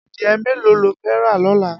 Adiẹ méló ló fẹ̀ rà lọlá?